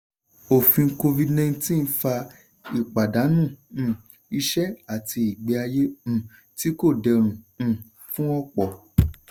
òfin covid-19 fa ìpàdánù um iṣẹ́ àti ìgbé ayé um tí kò dẹrùn um fún ọ̀pọ̀.